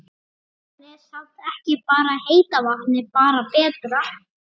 Kristján: Er samt ekki bara heita vatnið bara betra?